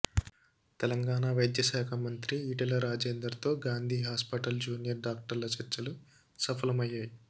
తెలంగాణ వైద్య శాఖ మంత్రి ఈటల రాజేందర్తో గాంధీ హాస్పిటల్ జూనియర్ డాక్టర్ల చర్చలు సఫలయ్యాయి